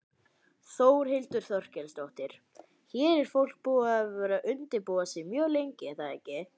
Þórhildur Þorkelsdóttir: Hér er fólk búið að vera undirbúa sig mjög lengi er það ekki?